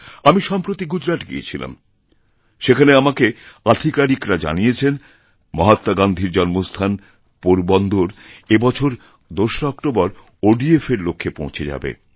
আমি সম্প্রতি গুজরাত গিয়েছিলামসেখানে আমাকে আধিকারিকরা জানিয়েছেন মহাত্মা গান্ধীর জন্মস্থান পোরবন্দর এই বছর২রা অক্টোবর ওডিএফ এর লক্ষ্যে পৌঁছে যাবে